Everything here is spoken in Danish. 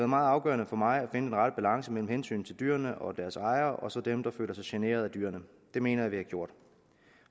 meget afgørende for mig at finde den rette balance mellem hensynet til dyrene og deres ejere og så dem der følger sig generet af dyrene det mener jeg vi har gjort